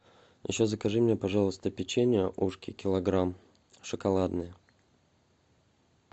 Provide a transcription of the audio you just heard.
еще закажи мне пожалуйста печенье ушки килограмм шоколадное